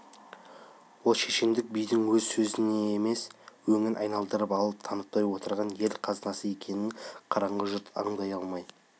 ол шешендік бидің өз сөзі емес өңін айналдырып алып танытпай отырған ел қазынасы екенін қараңғы жұрт аңдай алмай